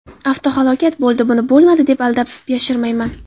Avtohalokat bo‘ldi, buni bo‘lmadi deb aldab, yashirmayman.